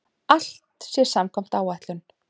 Allt sé samkvæmt áætlun